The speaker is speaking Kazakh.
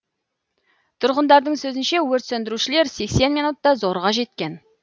тұрғындардың сөзінше өрт сөндірушілер сексен минутта зорға жеткен